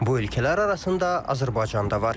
Bu ölkələr arasında Azərbaycan da var.